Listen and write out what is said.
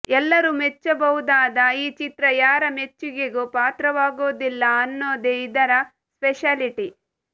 ಎಲ್ಲರೂ ಮೆಚ್ಚಬಹುದಾದ ಈ ಚಿತ್ರ ಯಾರ ಮೆಚ್ಚುಗೆಗೂ ಪಾತ್ರವಾಗೋದಿಲ್ಲ ಅನ್ನೋದೇ ಇದರ ಸ್ಪೆಷಾಲಿಟಿ